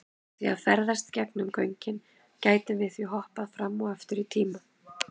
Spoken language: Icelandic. Með því að ferðast gegnum göngin gætum við því hoppað fram og aftur í tíma.